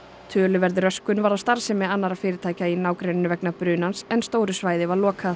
töluverð röskun varð á starfsemi annarra fyrirtækja í nágrenninu vegna brunans en stóru svæði var lokað